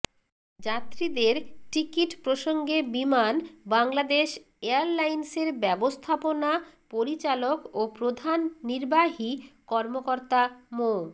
যাত্রীদের টিকিট প্রসঙ্গে বিমান বাংলাদেশ এয়ারলাইন্সের ব্যবস্থাপনা পরিচালক ও প্রধান নির্বাহী কর্মকর্তা মো